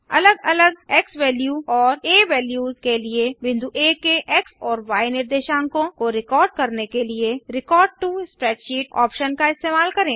अलग अलग एक्सवैल्यू और आ वैल्यूस के लिए बिंदु आ के एक्स और य निर्देशांकों को रिकॉर्ड करने के लिए रेकॉर्ड टो स्प्रेडशीट ऑप्शन का इस्तेमाल करें